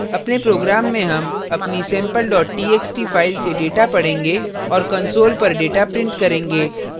इस program में हम अपनी sample txt फाइल से data पढेंगे और console पर data print करेंगे